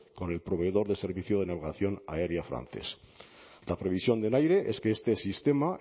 con el proveedor del servicio de navegación aérea francés la previsión del aire es que este sistema